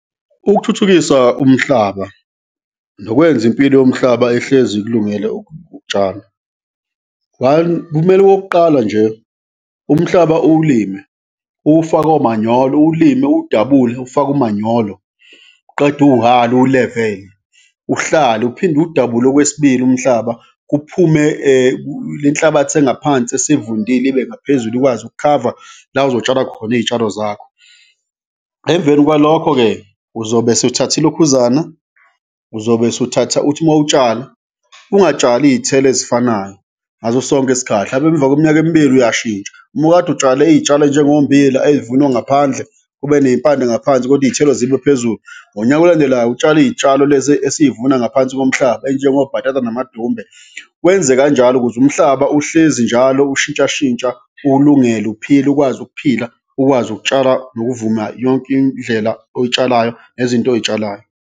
Ukuthuthukisa umhlaba nokwenza impilo yomhlaba ihlezi ikulungele ukutshala, one, kumele okokuqala nje umhlaba uwulime, uwufake omanyolo, uwulime uwudabule ufake umanyolo uqede uwuhale, uwu-level-e, uhlale uphinde uwudabule okwesibili umhlaba kuphume lenhlabathi engaphansi esivundile ibe ngaphezulu ikwazi ukukhava la ozotshala khona iy'tshalo zakho. Emveni kwalokho-ke, uzobe sewuthatha ilokhuzana, uzobe sewuthatha uthi ma utshala, ungatshali iy'thelo ezifanayo ngaso sonke isikhathi, mhlawumbe emva kweminyaka emibili uyashintsha, mukade utshala iy'tshalo ey'njengommbila ey'vunwa ngaphandle, kube ney'mpande ngaphansi kodwa iy'thelo zibe phezulu, ngonyaka olandelayo utshale iy'tshalo lezi esiy'vuna ngaphansi komhlaba, ey'njengobhatata namadumbe, wenze kanjalo ukuze umhlaba uhlezi njalo ushintshashintsha, ukwazi ukuphila, ukwazi ukutshala nokuvuna yonke indlela oy'tshalayo nezinto oy'tshalayo.